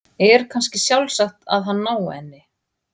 Er kannski sjálfsagt að hann nái henni?